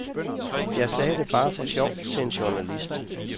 Jeg sagde det bare for sjov til en journalist.